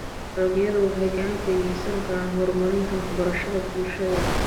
Dalagyadu waxay gacan ka geysan karaan horumarinta waxbarashada bulshada.